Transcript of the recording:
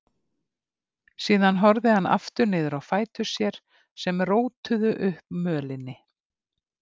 Síðan horfði hann aftur niður á fætur sér sem rótuðu upp mölinni.